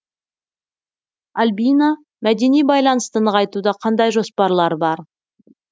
альбина мәдени байланысты нығайтуда қандай жоспарлар бар